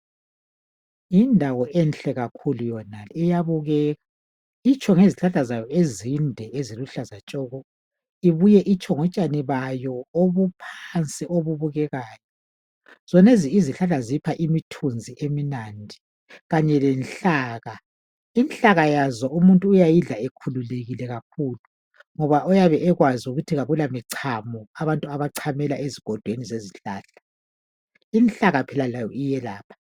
Yindawo enhle kakhulu yonale, iyabukeka. ltsho ngezihlahla zayo ezinde, Eziluhlaza tshoko! Ibuye itsho ngotshani bayo obuphansi, obubukekayo. Zonezi izihlahla zipha imithunzi emnandi kanye lenhlaka. Inhlaka yazo umuntu uyayidla ekhululekile kakhulu, ngoba uyabe ekwazi ukuthi kakulamichamo, abantu abachamela ezigodweni zezihlahla. Inhlaka layo phela iyelapha.